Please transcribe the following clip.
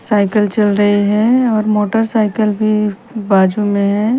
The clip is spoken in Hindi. साइकल चल रही हैं और मोटर साइकल भी बाजू में हैं।